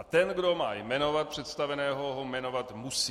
A ten, kdo má jmenovat představeného, ho jmenovat musí.